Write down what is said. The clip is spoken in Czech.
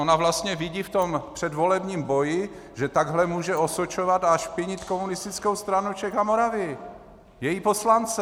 Ona vlastně vidí v tom předvolebním boji, že takhle může osočovat a špinit Komunistickou stranu Čech a Moravy, její poslance.